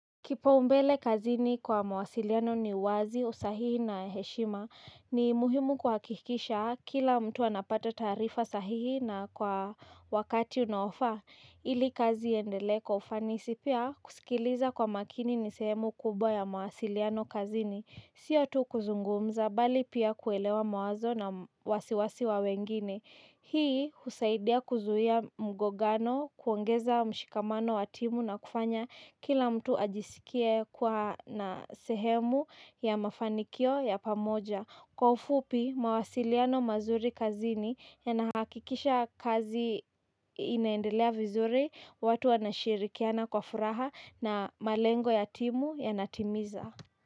Kipaumbele kazini kwa mawasiliano ni wazi, usahihi na heshima. Ni muhimu kuhakikisha kila mtu anapata taarifa sahihi na kwa wakati unaofaa. Ili kazi iendele kwa ufanisi pia kusikiliza kwa makini ni sehemu kubwa ya mawasiliano kazini. Sio tu kuzungumza bali pia kuelewa mawazo na wasiwasi wa wengine. Hii husaidia kuzuia mgogano kuongeza mshikamano wa timu na kufanya kila mtu ajisikie kuwa na sehemu ya mafanikio ya pamoja. Kwa ufupi mawasiliano mazuri kazini yanahakikisha kazi inaendelea vizuri watu wanashirikiana kwa furaha na malengo ya timu yanatimiza.